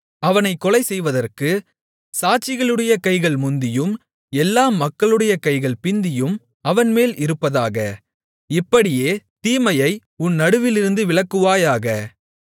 அவனைக் கொலை செய்கிறதற்குச் சாட்சிகளுடைய கைகள் முந்தியும் எல்லா மக்களுடைய கைகள் பிந்தியும் அவன்மேல் இருப்பதாக இப்படியே தீமையை உன் நடுவிலிருந்து விலக்குவாயாக